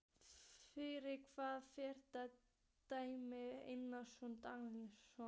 Fyrir hvaða félag dæmir Einar Örn Daníelsson?